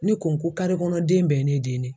Ne ko ko den bɛɛ ye ne den ye.